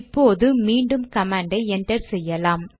இப்போது மீண்டும் கமாண்டை என்டர் செய்யலாம்